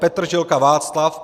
Petržilka Václav